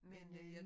Men øh